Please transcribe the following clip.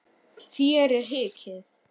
Þér hikið?